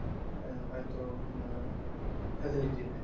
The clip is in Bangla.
আ~ হয়তো ম~ facility নাই